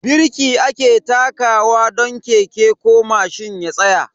Birki ake takawa don keke ko mashin ya tsaya.